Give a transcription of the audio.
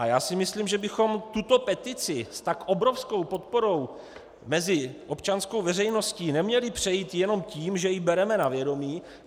A já si myslím, že bychom tuto petici s tak obrovskou podporou mezi občanskou veřejností neměli přejít jenom tím, že ji bereme na vědomí.